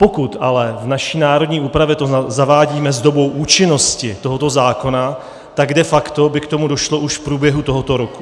Pokud ale v naší národní úpravě to zavádíme s dobou účinnosti tohoto zákona, tak de facto by k tomu došlo už v průběhu tohoto roku.